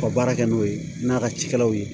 Ka baara kɛ n'o ye n'a ka cikɛlaw ye